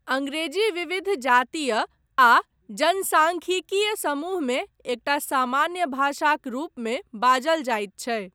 अंग्रेजी विविध जातीय आ जनसांख्यिकीय समूह मे एकटा सामान्य भाषाक रूपमे बाजल जायत छै।